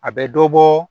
A bɛ dɔ bɔ